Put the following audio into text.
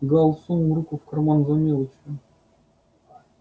гаал сунул руку в карман за мелочью